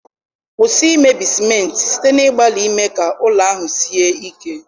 Kwụsị imebi simenti site n'ịgbalị ime ka ụlọ ahụ sie ike.